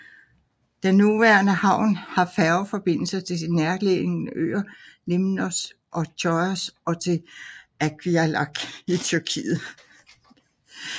Den nuværende havn har færgeforbindelse til de nærliggende øer Limnos og Chios og til Avyalik i Tyrkiet